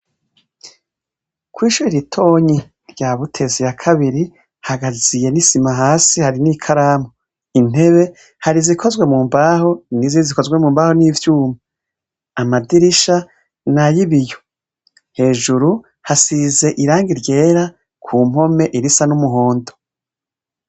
Kw'ishuri ritonyi rya Buteza ya kabiri, hagaziye n’isima hasi hari n’ikaramu. Intebe hari izikoze mu mbaho n'izindi zikoze mu mbaho n’ivyuma. Amadirisha ni ay'ibiyo. Hejuru hasize irangi ryera ku mpome irisa n’umuhondo.